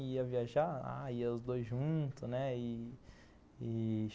Ia viajar, ah ia os dois juntos, né, e e